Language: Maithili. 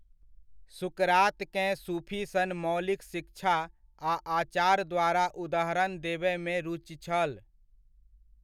सुकरातकेँ सूफि सन मौलिक शिक्षा आ आचार द्वारा उदाहरण देबयमे रुचि छल।